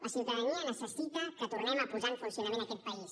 la ciutadania necessita que tornem a posar en funcionament aquest país